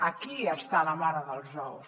aquí està la mare dels ous